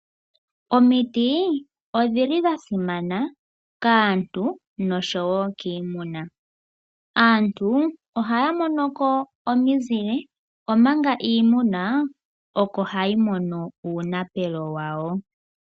Omiti odhasimana kaantu nosho wo kiimuna. Aantu ohaya mono ko omizile omanga iimuna oko hayi mono uunapelo wawo.